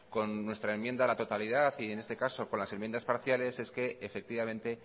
con nuestra enmienda a la totalidad y en este caso con las enmiendas parciales es que efectivamente